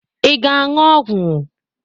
Ị ga-aṅụ ọgwụ?